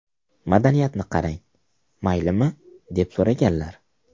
Madaniyatni qarang, maylimi, deb so‘raganlar.